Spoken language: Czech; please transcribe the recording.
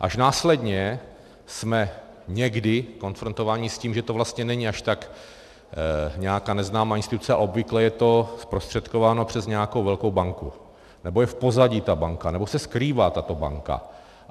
Až následně jsme někdy konfrontováni s tím, že to vlastně není až tak nějaká neznámá instituce, a obvykle je to zprostředkováno přes nějakou velkou banku, nebo je v pozadí ta banka, nebo se skrývá tato banka.